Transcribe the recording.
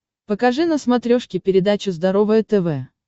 покажи на смотрешке передачу здоровое тв